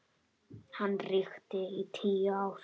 Hann ríkti í tíu ár.